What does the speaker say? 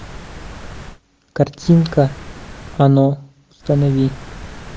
картинка оно установи